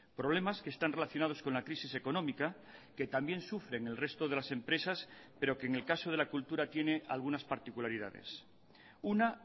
problemas que están relacionados con la crisis económica que también sufren el resto de las empresas pero que en el caso de la cultura tiene algunas particularidades una